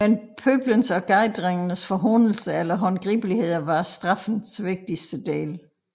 Men pøblens og gadedrenges forhånelser eller håndgribeligheder var straffens vigtigste del